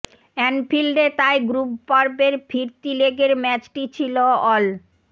অ্যানফিল্ডে তাই গ্রুপ পর্বের ফিরতি লেগের ম্যাচটি ছিল অল